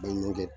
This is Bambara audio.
Baɲumankɛ